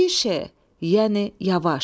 Tişe, yəni yavaş.